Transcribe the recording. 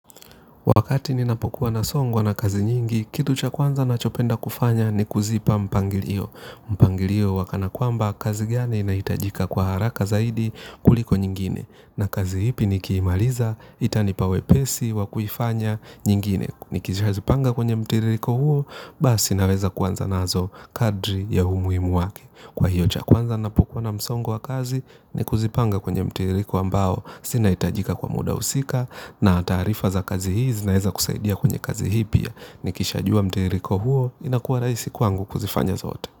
Wakati ninapokuwa na songwa na kazi nyingi, kitu cha kwanza ninachopenda kufanya ni kuzipa mpangilio. Mpangilio wa kana kwamba kazi gani inaitajika kwa haraka zaidi kuliko nyingine. Na kazi ipi nikiimaliza, itanipa wepesi, waikufanya nyingine. Ni kizipanga kwenye mtiririko huo, basi naweza kwanza nazo kadri ya umuhimu wake. Kwa hiyo cha kwanza ninapopkuwa na msongo wa kazi, ni kuzipanga kwenye mtiririko ambao zinahitajika kwa muda husika. Na taarifa za kazi hizi naeza kusaidia kwenye kazi hii pia. Nikisha jua mtiririko huo inakuwa rahisi kwangu kuzifanya zote.